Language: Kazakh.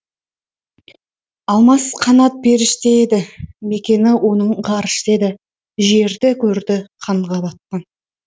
алмас қанат періште еді мекені оның ғарышта еді жерді көрді қанға батқан